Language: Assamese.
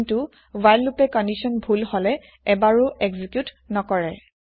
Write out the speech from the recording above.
কিন্তু হোৱাইল লোপে কন্দিচ্যন ভূল হলে এবাৰো এক্জিক্যুত নকৰে